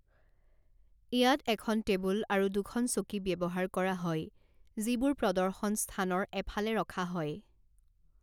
ইয়াত এখন টেবুল আৰু দুখন চকী ব্যৱহাৰ কৰা হয়, যিবোৰ প্ৰদৰ্শন স্থানৰ এফালে ৰখা হয়।